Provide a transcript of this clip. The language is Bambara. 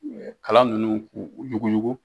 Kalan ninnu k'u yuguyugu.